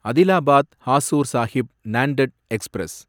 Adilabad Hazur Sahib Nanded express